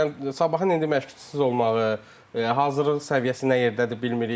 Yəni sabahın indi məşqçisiz olmağı, hazırlıq səviyyəsi nə yerdədir bilmirik.